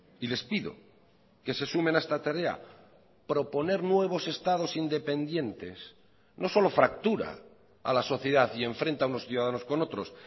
y les pido que se sumen a esta tarea proponer nuevos estados independientes no solo fractura a la sociedad y enfrenta a unos ciudadanos con otros